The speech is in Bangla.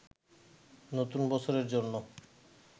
নতুন বছরের জন্য